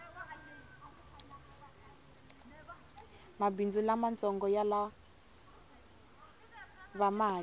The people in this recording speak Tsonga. mabhindzu lamatsongo yalava mali